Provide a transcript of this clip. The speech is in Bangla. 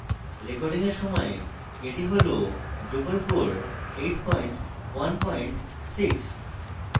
recording at সময় at হল drupal core 816